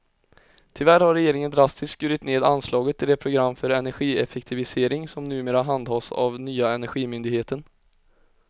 Tyvärr har regeringen drastiskt skurit ned anslaget till det program för energieffektivisering som numera handhas av nya energimyndigheten.